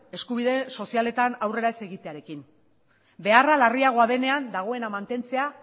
eskubide sozialetan aurrera ez egitearekin beharra larriagoa denean dagoena mantentzea